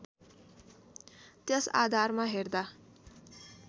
त्यस आधारमा हेर्दा